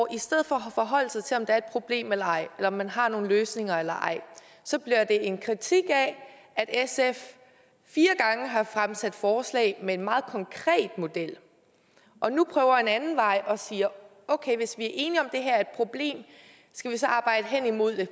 i stedet for at forholde sig til om der er et problem eller ej eller om man har nogle løsninger eller ej så bliver det en kritik af at sf fire gange har fremsat forslag med en meget konkret model og nu prøver en anden vej og siger okay hvis vi er enige om at det her er et problem skal vi så arbejde hen imod en